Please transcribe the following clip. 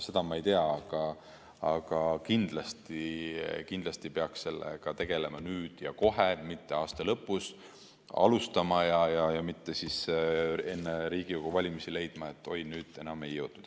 Seda ma ei tea, aga kindlasti peaks sellega tegelema nüüd ja kohe, mitte aasta lõpus alustama ja mitte enne Riigikogu valimisi leidma, et oi, nüüd enam ei jõudnud.